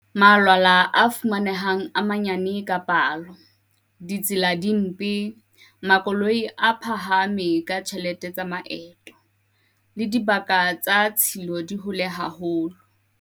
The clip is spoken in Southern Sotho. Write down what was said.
Malwala a fumanehang a manyane ka palo, ditsela di mpe, makoloi a phahame ka tjhelete tsa maeto, le dibaka tsa tshilo di hole haholo.